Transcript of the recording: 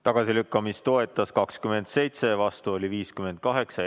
Tagasilükkamist toetas 27 rahvasaadikut ja vastu oli 58.